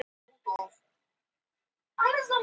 Lætin þóttu trufla réttarhöldin